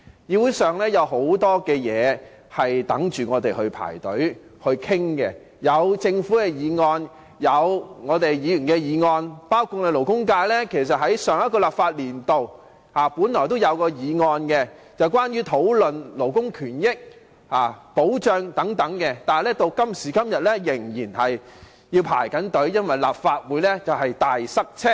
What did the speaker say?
議會有很多事情正等待我們討論，包括政府議案、議員議案，而勞工界在上一個立法會度本來也提出了一項有關勞工權益和保障的議案，但至今仍在輪候中，原因是立法會"大塞車"。